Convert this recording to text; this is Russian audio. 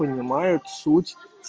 понимают суть